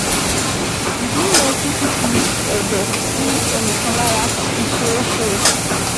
Ìdí nìyẹn tí fífi ẹ̀dọ̀ sí ẹnì kan lára fi ṣeé ṣe